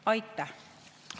Aitäh!